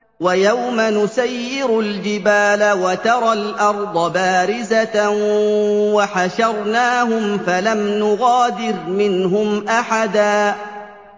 وَيَوْمَ نُسَيِّرُ الْجِبَالَ وَتَرَى الْأَرْضَ بَارِزَةً وَحَشَرْنَاهُمْ فَلَمْ نُغَادِرْ مِنْهُمْ أَحَدًا